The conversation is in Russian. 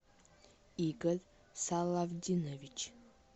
игорь салавдинович